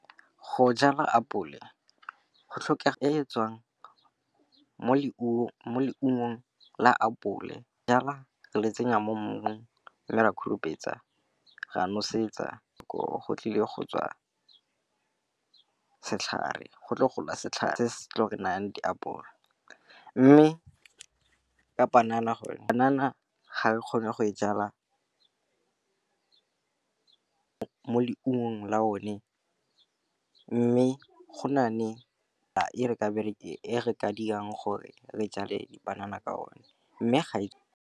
Go jala apole go tlhoka e tswang mo leungo la apole. Go jala re le tsenya mo mmung, mme ra hupetsa, ra nosetsa. Koo go tle gola setlhare se se nang diapole. Mme ka panana, panana ga re kgone go e jala mo leungo la o ne. Mme go na le e re ka dirang gore re jale dipanana ka o ne. Mme ga e.